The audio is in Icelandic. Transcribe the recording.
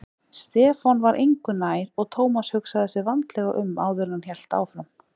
Stefán var engu nær og Thomas hugsaði sig vandlega um áður en hann hélt áfram.